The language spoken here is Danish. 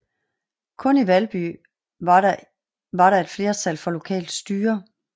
Kun i Valby var der et flertal for lokalt styre